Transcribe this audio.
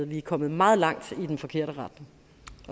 vi er kommet meget langt i den forkerte retning